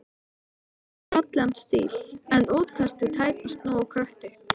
Hann hefur fallegan stíl, en útkastið tæpast nógu kröftugt.